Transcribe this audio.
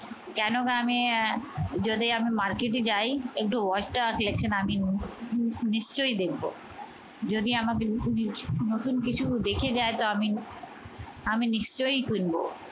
কেননা আমি যদি আমি মার্কেটে যাই একটু watch টা collection আমি নি নি নিশ্চয় দেখবো। যদি আমাকে নতুন কিছু নতুন কিছু দেখে যাই তো আমি আমি নিশ্চয় কিনব।